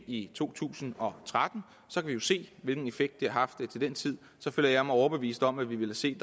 i to tusind og tretten så kan vi se hvilken effekt det har haft til den tid så føler jeg mig overbevist om at vi vil se